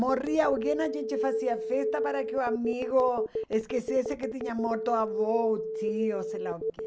Morria alguém, a gente fazia festa para que o amigo esquecesse que tinha morto o avô, o tio, sei lá o quê.